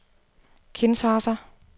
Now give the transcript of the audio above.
Kinshasa